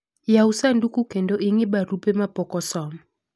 yawu sanduku kendo ing'i barupe ma pok osom